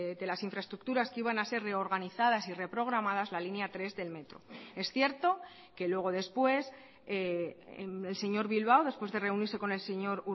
de las infraestructuras que iban a ser reorganizadas y reprogramadas la línea tres del metro es cierto que luego después el señor bilbao después de reunirse con el señor